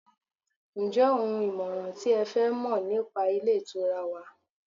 njé oun ìmọràn ti e fẹ Mọ nipa ilé ìtura wa